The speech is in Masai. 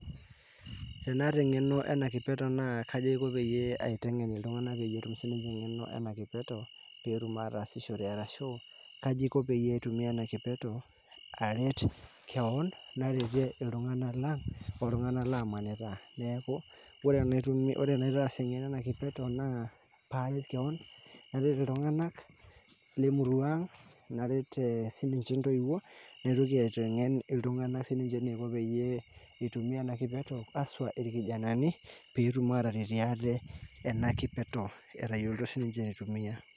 tenata eng'eno ena kipeto naa kaji aiko paitengen iltunganak petuum sininje eng'eno enatoki petum atasishore arashu kaji iko paitumia enakipeto aret kewon naretie iltung'anak oltunganak lamanita neaku wore enaitaas eng'eno ena kipeto naa paret kewon naret iltunganak lemurua ang' naret sininje intoiuo naitoki aiteng'en iltung'anak peyie itumia ena kipeto haswa ilkijanani petum ataretie ate tenakipeto etayioloito sininje aitumia